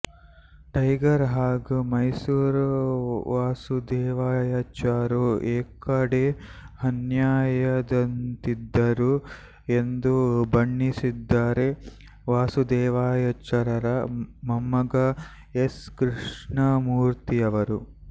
tiger ಹಾಗೂ ಮೈಸೂರು ವಾಸುದೇವಾಚಾರ್ಯರು ಏಕದೇಹನ್ಯಾಯದಂತಿದ್ದರು ಎಂದು ಬಣ್ಣಿಸಿದ್ದಾರೆ ವಾಸುದೆವಾಚಾರ್ಯರರ ಮೊಮ್ಮಗ ಎಸ್ ಕೃಷ್ಣಮೂರ್ತಿಯವರು